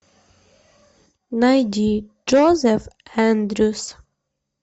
найди джозеф эндрюс